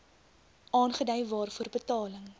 aangedui waarvoor betaling